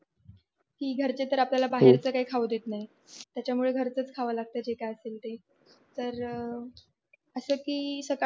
कि घरचे तर आपल्याला बाहेरच काही खाऊ देत नाही त्यामुळे घरचंच खावं लागत जे कक्य असेल ते